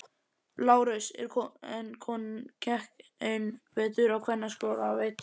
LÁRUS: En konan sem gekk einn vetur á kvennaskóla veit.